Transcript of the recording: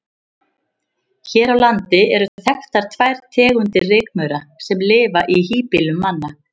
Hér á landi eru þekktar tvær tegundir rykmaura sem lifa í híbýlum manna.